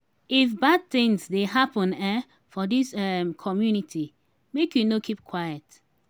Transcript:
if bad tins dey happen um for dis um community make you no keep quiet.